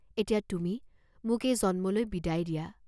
এতিয়া তুমি মোক এই জন্মলৈ বিদায় দিয়া।